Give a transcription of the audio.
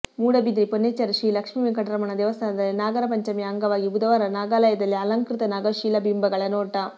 ಮೂಡುಬಿದಿರೆ ಪೊನ್ನೆಚ್ಚಾರಿ ಶ್ರೀ ಲಕ್ಷ್ಮೀ ವೆಂಕಟರಮಣ ದೇವಸ್ಥಾನದಲ್ಲಿ ನಾಗರ ಪಂಚಮಿಯ ಅಂಗವಾಗಿ ಬುಧವಾರ ನಾಗಾಲಯದಲ್ಲಿ ಅಲಂಕೃತ ನಾಗಶಿಲಾ ಬಿಂಬಗಳ ನೋಟ